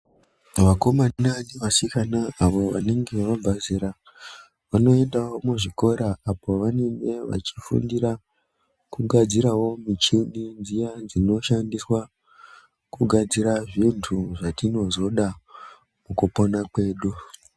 Vakomana nevasikana avo vanenge vabva zera vanoendawo muzvikora apo pavanenge zvachifundira kugadzirawo muchini dziyani dzinoshandiswa kugadzira zvintu zvatinozoda mukupona kwedu .